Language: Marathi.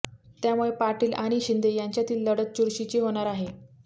त्यामुळे पाटील आणि शिंदे यांच्यातील लढत ही चुरशीची होणार आहे